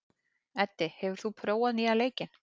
Eddi, hefur þú prófað nýja leikinn?